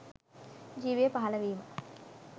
ජීවය පහල වීම